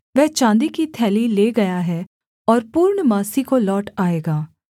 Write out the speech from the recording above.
वह चाँदी की थैली ले गया है और पूर्णमासी को लौट आएगा